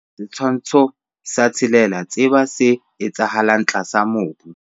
Setshwantsho sa 6. Tseba se etsahalang tlasa mobu.